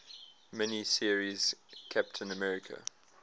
mini series captain america